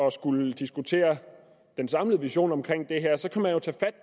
at skulle diskutere den samlede vision omkring det